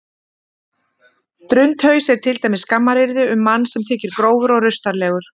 drundhaus er til dæmis skammaryrði um mann sem þykir grófur og rustalegur